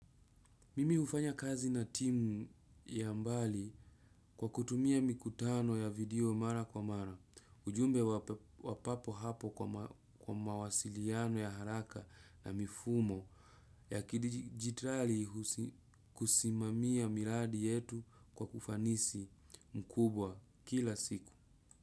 Mimi hufanya kazi na timu ya mbali kwa kutumia mikutano ya video mara kwa mara, ujumbe wa papo hapo kwa mawasiliano ya haraka na mifumo ya kidijitali kusimamia miradi yetu kwa ufanisi mkubwa kila siku.